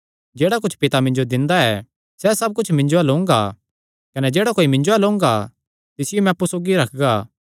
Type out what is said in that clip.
जेह्ड़ा कुच्छ पिता मिन्जो दिंदा ऐ सैह़ सब कुच्छ मिन्जो अल्ल ओंगा कने जेह्ड़ा कोई मिन्जो अल्ल ओंगा तिसियो मैं अप्पु सौगी रखगा